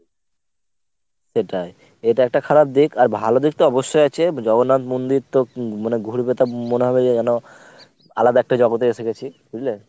সেটাই। এটা একটা খারাপ দিক আর ভালো দিক তো অবশ্যই আছে জগন্নাথ মন্দির তো মানে ঘুরবে তো মনে হবে যে ~ যেন আলাদা একটা জগতে এসে গেছি। বুঝলে?